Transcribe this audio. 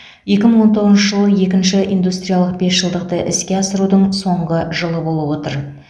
екі мың он тоғызыншы жыл екінші индустриялық бесжылдықты іске асырудың соңғы жылы болып отыр